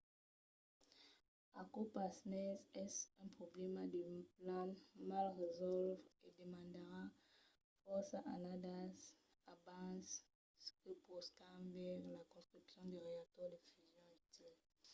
aquò pasmens es un problèma de plan mal resòlvre e demandarà fòrça annadas abans que poscam veire la construccion de reactors de fusion utils